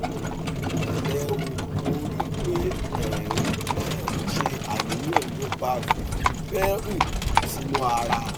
pẹlẹ o mo rí i pé ẹ ń ẹ ń ṣe àníyàn nípa fífi phenyl sínú ara